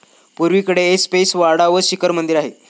पुर्वेकडे ऐसपैस वाडा व शिखर मंदिर आहे.